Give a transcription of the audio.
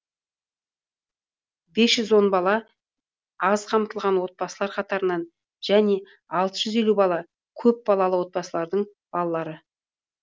бес жүз он бала аз қамтылған отбасылар қатарынан және алты жүз елу бала көпбалалы отбасылардың балалары